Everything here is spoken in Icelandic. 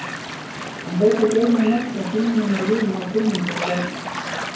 Hann hlaut að geyma nöfn og símanúmer vina og kunningja sem